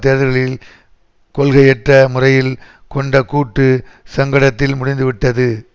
தேர்தல்களில் கொள்கையற்ற முறையில் கொண்ட கூட்டு சங்கடத்தில் முடிந்துவிட்டது